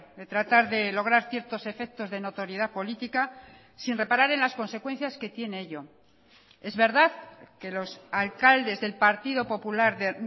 de tratar de lograr ciertos efectos de notoriedad política sin reparar en las consecuencias que tiene ello es verdad que los alcaldes del partido popular de